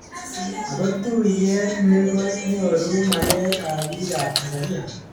Ako tuyet ni konyoru maget ab biik ab Tanzania.